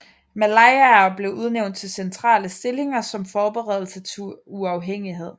Malayer blev udnævnte til centrale stillinger som forberedelse til uafhængighed